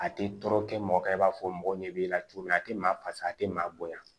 A tɛ tɔɔrɔ kɛ mɔgɔ kan i b'a fɔ mɔgɔ ɲɛ b'i la cogo min a te maa fasa a te maa bonya